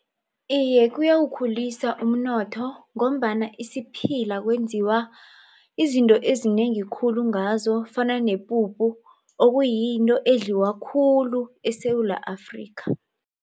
Iye, kuyawukhulisa umnotho ngombana isiphila kwenziwa izinto ezinengi khulu ngazo kufana nepuphu okuyinto edliwa khulu eSewula Afrika.